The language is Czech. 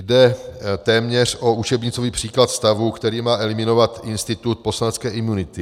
Jde téměř o učebnicový příklad stavu, který má eliminovat institut poslanecké imunity.